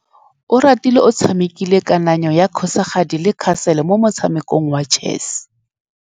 Oratile o tshamekile kananyô ya kgosigadi le khasêlê mo motshamekong wa chess.